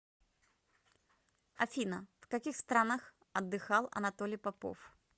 афина в каких странах отдыхал анатолий попов